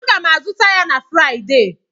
Aga m azụta ya na Fraịdee.